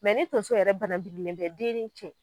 Mɛ ni tonso yɛrɛ bananbirilen tɛ den ni cɛ